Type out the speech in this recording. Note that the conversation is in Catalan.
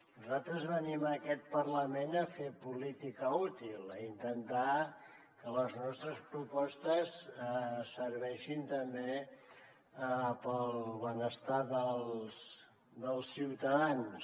nosaltres venim a aquest parlament a fer política útil a intentar que les nostres propostes serveixin també per al benestar dels ciutadans